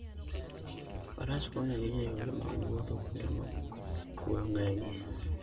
Faras konyo ahinya e yore mag wuoth kuonde ma kuoyo ng'enyie.